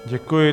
Děkuji.